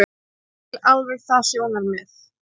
Ég skil alveg það sjónarmið.